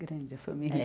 Grande a família. É